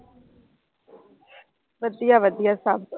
ਵਧੀਆ ਵਧੀਆ ਸਭ।